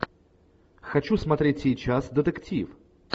хочу смотреть сейчас детектив